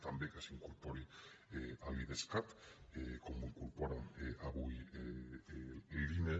també que s’incorpori a l’idescat com ho incorpora avui l’ine